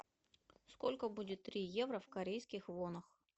сколько будет три евро в корейских вонах